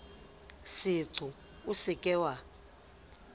seqo o se ke wa